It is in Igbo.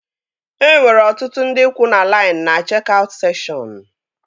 E nwere ọtụtụ ndị kwuu na lain na chek-aut sekshọn